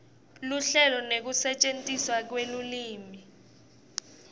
luhlelo nekusetjentiswa kwelulwimi